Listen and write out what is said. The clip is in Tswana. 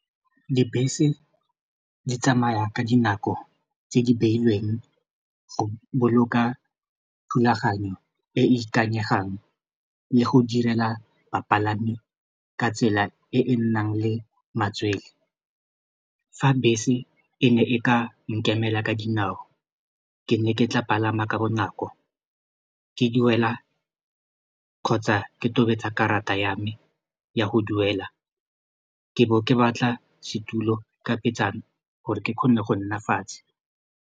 Dibese di tsamaya ka dinako tse di beilweng go boloka thulaganyo e e ikanyegang le go direla bapalami ka tsela e e nnang le matswele fa bese e ne e ka nkemela ka dinao ke ne ke tla palama ka bonako ke duela kgotsa ke tobetsa karata ya me ya go duela ke bo ke batla setulo ka petsana gore ke kgone go nna fatshe.